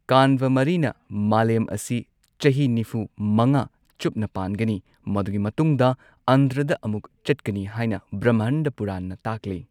ꯀꯥꯟꯚ ꯃꯔꯤꯅ ꯃꯥꯂꯦꯝ ꯑꯁꯤ ꯆꯍꯤ ꯅꯤꯐꯨ ꯃꯉꯥ ꯆꯨꯞꯅ ꯄꯥꯟꯒꯅꯤ ꯃꯗꯨꯒꯤ ꯃꯇꯨꯡꯗ ꯑꯟꯙ꯭ꯔꯗ ꯑꯃꯨꯛ ꯆꯠꯀꯅꯤ ꯍꯥꯏꯅ ꯕ꯭ꯔꯥꯍꯃꯟꯗꯥ ꯄꯨꯔꯥꯟꯅ ꯇꯥꯛꯂꯤ꯫